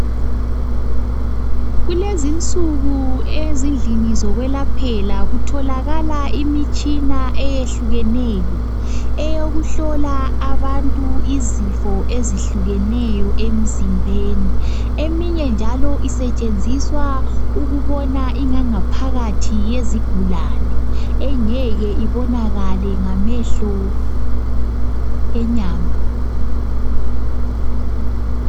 Kulezinsuku ezindlini zokwelaphela kutholakala imitshina eyehlukeneyo, eyokuhlola abantu izifo ezihlukeneyo emzimbeni . Eminye njalo isetshenziswa ukubona ingangaphakathi yezigulane engeke ibonakale ngamehlo enyama.